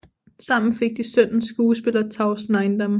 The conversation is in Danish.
Sammen fik de sønnen skuespiller Tavs Neiiendam